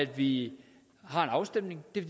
vi har en afstemning det er